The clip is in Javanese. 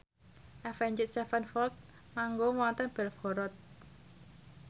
Avenged Sevenfold manggung wonten Belgorod